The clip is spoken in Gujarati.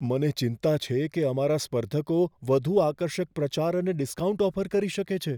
મને ચિંતા છે કે અમારા સ્પર્ધકો વધુ આકર્ષક પ્રચાર અને ડિસ્કાઉન્ટ ઓફર કરી શકે છે.